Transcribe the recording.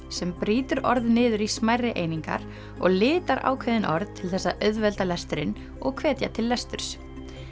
sem brýtur orð niður í smærri einingar og litar ákveðin orð til þess að auðvelda lesturinn og hvetja til lesturs